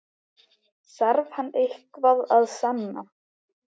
Þarf hann eitthvað að sanna?